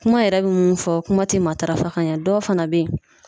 Kuma yɛrɛ bi mun fɔ kuma ti matarafa ka ɲɛ dɔw fɛnɛ be ye